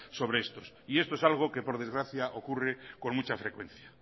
sobre estos y esto es algo por desgracia ocurre con mucha frecuencia